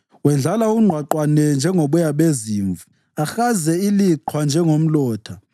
Wendlala ungqwaqwane njengoboya bezimvu ahaze iliqhwa njengomlotha.